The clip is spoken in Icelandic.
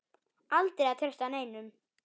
Aldrei að treysta neinum.